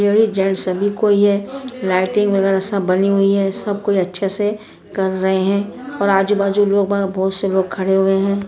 Ladies gents सभी कोई ये लाइटिंग वगेरा सब बनी हुई है सब कोई अच्छे से कर रहे है और आजू-बाजू लोग बहा बहुत से लोग खड़े हुए हैं।